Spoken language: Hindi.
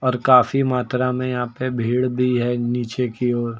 और काफी मात्रा में यहां पे भीड़ भी है नीचे की ओर।